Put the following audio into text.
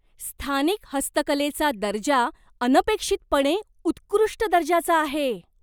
स्थानिक हस्तकलेचा दर्जा अनपेक्षितपणे उत्कृष्ट दर्जाचा आहे.